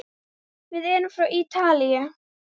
Við erum frá Ítalíu.